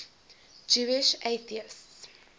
jewish atheists